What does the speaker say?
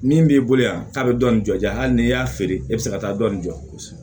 Min b'i bolo yan k'a bɛ dɔɔnin jɔ hali n'i y'a feere e bɛ se ka taa dɔɔnin jɔsi